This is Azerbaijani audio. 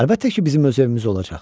Əlbəttə ki, bizim öz evimiz olacaq.